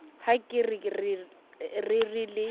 ha ke re re le